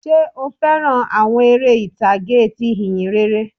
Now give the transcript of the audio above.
Sé o fẹ́ràn àwọn eré ìtàgé ti ìhìnrere?